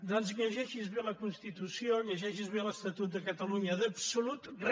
doncs lle·geixi’s bé la constitució llegeixi’s bé l’estatut de ca·talunya d’absolut re